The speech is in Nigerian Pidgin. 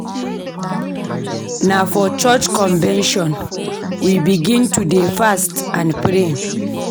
Na for church convention we begin to dey fast and pray.